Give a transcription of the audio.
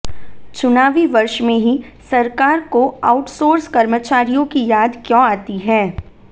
चुनावी वर्ष में ही सरकार को आउटसोर्स कर्मचारियों की याद क्यों आती है